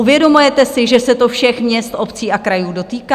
Uvědomujete si, že se to všech měst obcí a krajů dotýká?